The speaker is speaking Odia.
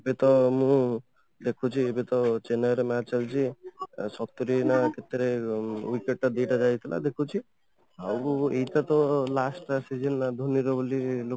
ଏବେ ତ ମୁଁ ଦେଖୁଛି ଏବେ ତ ଚେନ୍ନାଇ ର match ଚାଲିଛି ସତୁରି ନା କେତେ ରେ wicket ଟା ଦିଟା ଯାଇଥିଲା ଦେଖୁଛି ଆଉ ଏଇଟା ତ last match season ର ଧୋନି ର ବୋଲି ଲୋକ